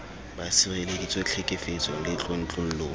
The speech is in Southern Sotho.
ba sireleditswe tlhekefetsong le tlontlollong